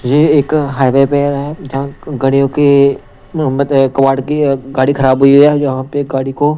ये एक हाईवे पे है जहां गाड़ियों के कवाड़ की गाड़ी खराब हुई है यहां पे गाड़ी को।